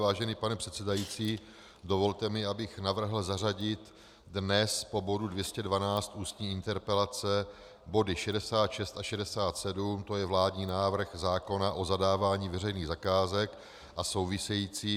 Vážený pane předsedající, dovolte mi, abych navrhl zařadit dnes po bodu 212 Ústní interpelace body 66 a 67, to je vládní návrh zákona o zadávání veřejných zakázek a související.